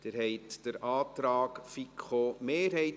Abstimmung (Art. 182 Abs. 1; Antrag FiKo-Mehrheit